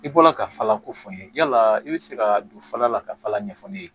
I bɔla ka fala ko fɔ n ye yala i bɛ se ka don fala la ka fala ɲɛfɔ ne ye